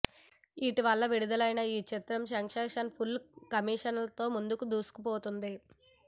ఇటీవల విడుదలైన ఈ చిత్రం సక్సెస్ ఫుల్ కలెక్షన్లతో ముందుకు దూసుకుపోతోంది